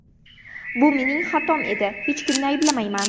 Bu mening xatom edi, hech kimni ayblamayman.